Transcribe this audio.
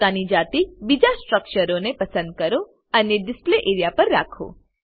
પોતાની જાતે બીજા સ્ટ્રક્ચરોને પસંદ કરો અને ડીસ્લ્પે એરિયા પર રાખો